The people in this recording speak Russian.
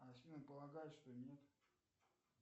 афина полагает что нет